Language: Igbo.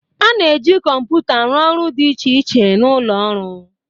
A na-eji kọmpụta rụọ ọrụ dị iche iche na ụlọ ọrụ.